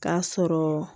K'a sɔrɔ